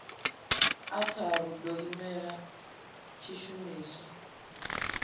a tharu ḓo imela tshishumiswa